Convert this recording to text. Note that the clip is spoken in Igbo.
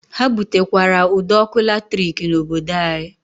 Ha butekwara ụd'ọkụ latrik n'obodo anyị.